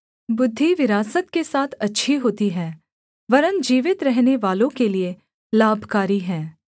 बुद्धि विरासत के साथ अच्छी होती है वरन् जीवित रहनेवालों के लिये लाभकारी है